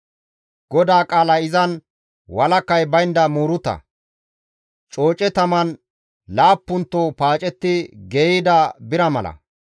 GODAA qaalay izan walakay baynda muuruta; cooce taman laappunto paacetti geeyida bira mala.